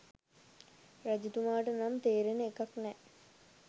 රජතුමාට නම් තේරෙන එකක් නෑ